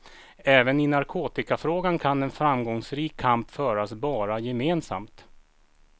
Även i narkotikafrågan kan en framgångsrik kamp föras bara gemensamt.